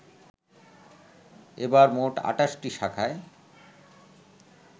এবার মোট ২৮টি শাখায়